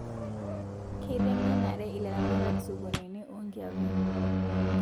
Keitengenare ilaramatak sokonini onkiapi